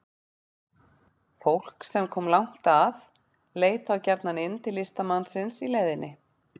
Fólk sem kom langt að leit þá gjarnan inn til listamannsins í leiðinni.